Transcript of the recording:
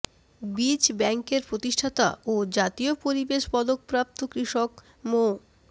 বীজ ব্যাংকের প্রতিষ্ঠাতা ও জাতীয় পরিবেশ পদকপ্রাপ্ত কৃষক মো